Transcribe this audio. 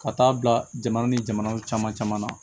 Ka taa bila jamana ni jamanaw caman caman na